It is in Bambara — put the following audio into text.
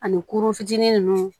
Ani kurun fitinin ninnu